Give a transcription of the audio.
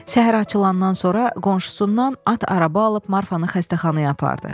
Səhər açılandan sonra qonşusundan at araba alıb Marfanı xəstəxanaya apardı.